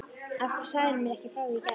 Af hverju sagðirðu mér ekki frá því í gær?